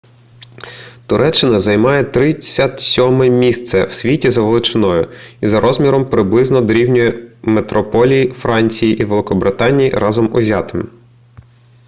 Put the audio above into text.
туреччина займає 37-е місце в світі за величиною і за розміром приблизно дорівнює метрополії франції і великобританії разом узятим